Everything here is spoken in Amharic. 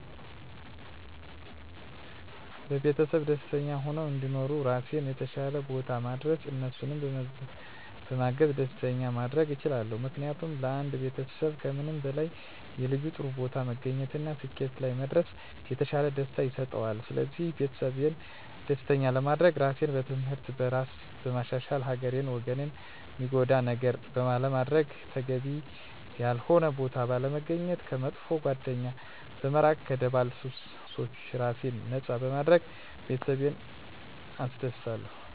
ቤተሰቤ ደስተኛ ሁነው እንዲኖሩ ራሴን የተሻለ ቦታ ማድረስ እነሱንም በማገዝ ደስተኛ ማድረግ እችላለሁ። ምክንያቱም ለአንድ ቤተሰብ ከምንም በላይ የልጁ ጥሩ ቦታ መገኘት እና ስኬት ላይ መድረስ የተሻለ ደስታን ይሰጠዋል ስለዚህ ቤተሰቤን ደስተኛ ለማድረግ ራሴን በትምህርት፣ በስራ በማሻሻል ሀገርን ወገንን ሚጎዳ ነገር ባለማድረግ፣ ተገቢ ያልሆነ ቦታ ባለመገኘት፣ ከመጥፎ ጓደኛ በመራቅ ከደባል ሱሶች ራሴን ነፃ በማድረግ ቤተሰቤን አስደስታለሁ።